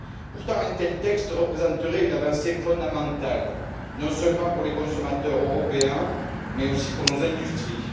Pourtant, un tel texte représenterait une avancée fondamentale, non seulement pour les consommateurs européens, mais aussi pour nos industries.